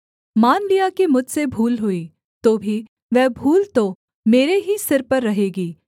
मान लिया कि मुझसे भूल हुई तो भी वह भूल तो मेरे ही सिर पर रहेगी